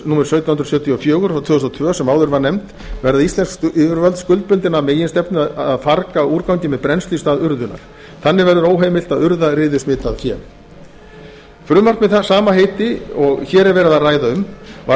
númer sautján hundruð sjötíu og fjögur tvö þúsund og tvö sem áður var nefnd og verða íslensk yfirvöld skuldbundin að meginstefnu að farga úrgangi með brennslu í stað urðunar þannig verður óheimilt að urða riðusmitað fé frumvarp með það sama heiti og hér er verið að ræða um var